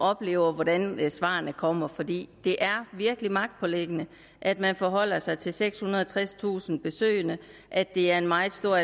oplever hvordan svarene kommer fordi det er virkelig magtpåliggende at man forholder sig til sekshundrede og tredstusind besøg og at det er en meget stor